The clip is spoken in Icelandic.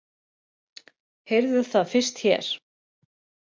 Heyrðuð það fyrst her!